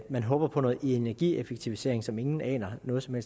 man håber på noget energieffektivisering som ingen aner noget som